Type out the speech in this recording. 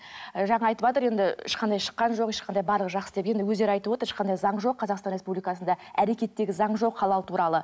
ы жаңа айтыватыр енді ешқандай шыққан жоқ ешқандай барлығы жақсы деп енді өздері айтып отыр ешқандай заң жоқ қазақстан республикасында әрекеттегі заң жоқ халал туралы